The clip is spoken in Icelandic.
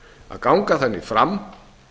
að ganga þannig fram